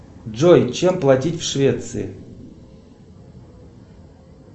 джой чем платить в швеции